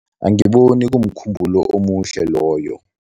Angiboni kumkhumbulo omuhle loyo.